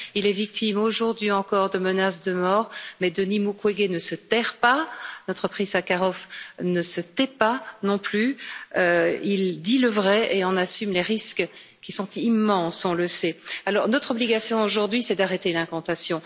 Il est victime aujourd'hui encore de menaces de mort, mais Denis Mukwege ne se terre pas, notre prix Sakharov ne se tait pas, non plus, il dit le vrai et en assume les risques, qui sont immenses, on le sait. Alors, notre obligation aujourd'hui, c'est d'arrêter l'incantation.